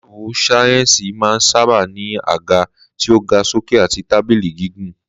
Láàbù sáyẹ́ǹsì máa ń sábà ní àga tí ó ga sókè àti tábìlì gígùn